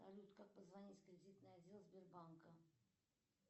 салют как позвонить в кредитный отдел сбербанка